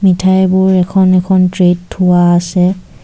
মিঠাইবোৰ এখন এখন ট্ৰেত থোৱা আছে।